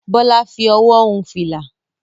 Bólà fi owó hun fìlà.